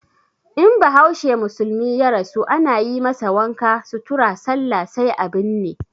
In bahaushe musulmi ya rasu ana yi masa wanka, sutura, sallah sai a binne.